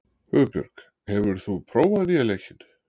Hugbjörg, hefur þú prófað nýja leikinn?